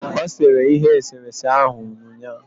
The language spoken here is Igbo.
O sere ihe eserese ahụ ụnyaahụ